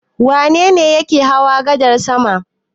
Wane ne yake hawa gadar sama?